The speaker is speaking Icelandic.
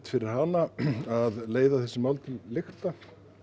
fyrir hana að leiða þessi mál til lykta